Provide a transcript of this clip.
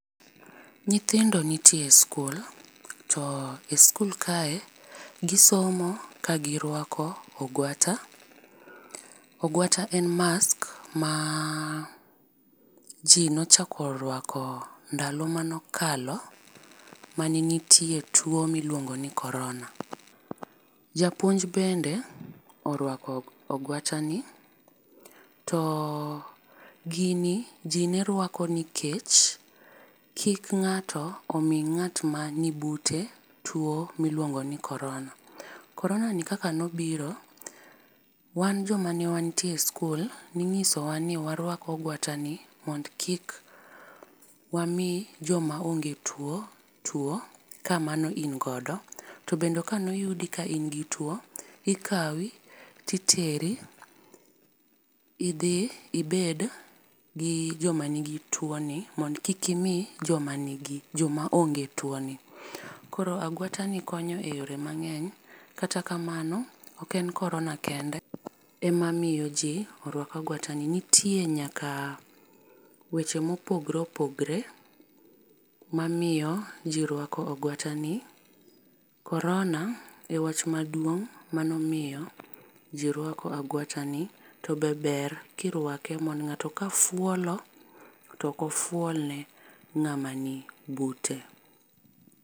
Nyithindo nitie e skul to e skul kae gi somo ka gi rwako ogwata. Ogwata en mask ma ji ne ochako rwako ndalo mane okalo ma ne nitie tuo mi iluongo ni korona . Japuonj bende orwako ogwata ni, to gini ji ne rwako nikech kik ng'ato omi ng'at ma ni bute tuo mi iluongo ni korona .Korona ni kaka ne obiro, wan jo ma ne wantie e skul , ni ing'iso wa ni warwak ogwata ni mondo kik wami jo ma onge tuo ka mano in go. To be ka ne oyudi ka in gi tuo ikawi to iteri idhi ibed gi jo ma ni gi tuoni mondo kik imi jo ma ni gi jo ma onge tuo ni. Koro agwata ni konyo eyore mangeny kata kamano ok en korona kende ema miyo ji rwako agwata ni nitie nyaka weche mo opogore opogore ma miyo ji rwako agwata ni .Korona e wach maduong mano omiyo ji rwako agwata ni to be ber ki irwake mondo ng'ato ka fuolo to ok ofuolne ng'ama ni bute.